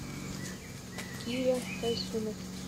киря тайсумов